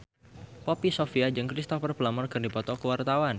Poppy Sovia jeung Cristhoper Plumer keur dipoto ku wartawan